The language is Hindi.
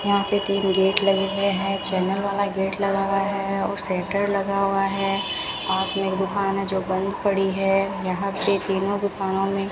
यहां पे तीन गेट लगे हुए है चैनल वाला गेट लगा हुआ है और सेंटर लगा हुआ है पास में एक दुकान है जो बंद पड़ी है यहां पे तीनों दुकानों में --